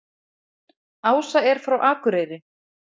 Ása er frá Akureyri.